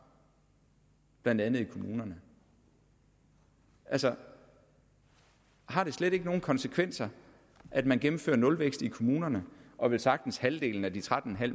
blandt andet i kommunerne altså har det slet ikke nogen konsekvenser at man gennemfører nulvækst i kommunerne og at velsagtens halvdelen af de tretten